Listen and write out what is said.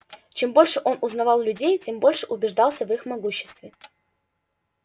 чем больше он узнавал людей тем больше убеждался в их могуществе